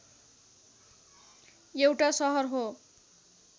एउटा सहर हो